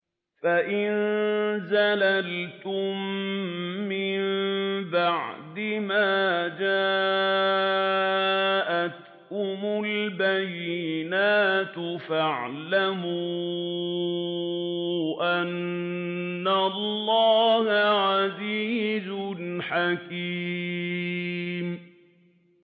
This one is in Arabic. فَإِن زَلَلْتُم مِّن بَعْدِ مَا جَاءَتْكُمُ الْبَيِّنَاتُ فَاعْلَمُوا أَنَّ اللَّهَ عَزِيزٌ حَكِيمٌ